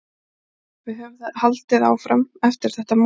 Við höfum haldið áfram eftir þetta mál.